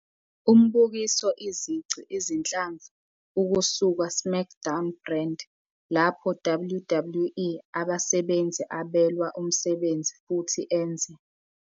Umbukiso izici izinhlamvu ukusuka SmackDown brand, lapho WWE abasebenzi abelwa umsebenzi futhi enze.